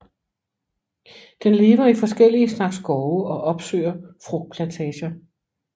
Den lever i forskellige slags skove og opsøger frugtplantager